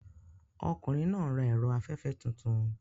Ọkùnrin náà ń ra ẹ̀rọ afẹ́fẹ́ tuntun.